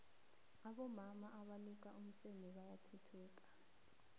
abomama abaluka iimiseme bayathuthuka